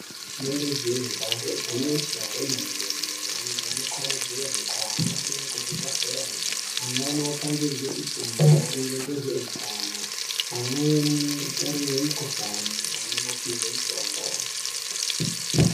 Rinenge jee damba igwinyiso remene mene antu anokurudzirwe kuhambe kuzvibhedhlera amweni opangidzwe fundo emaringe ngezveutano amweni otarirwe mikhuhlani, amweni opihwe mitombo.